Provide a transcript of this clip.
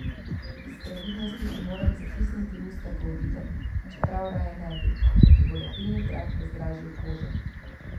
Iz previdnosti ti moram zatisniti usta, ko odidem, čeprav raje ne bi, ker ti bo lepilni trak razdražil kožo.